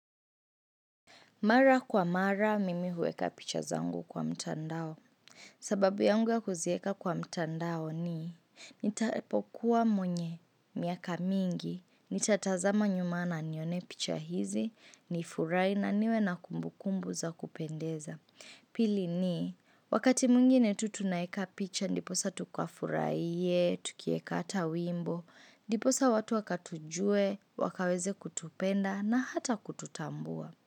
Mara kwa mara, mimi huweka picha zangu kwa mtandao. Sababu yangu ya kuzieka kwa mtandao ni, nitapokuwa mwenye, miaka mingi, nitatazama nyuma na nione picha hizi, nifurahi na niwe na kumbu kumbu za kupendeza. Pili ni, wakati mwingine tu tunaeka picha, ndiposa tukafuraihe, tukieka ata wimbo, ndiposa watu wakatujue, wakaweze kutupenda na hata kututambua.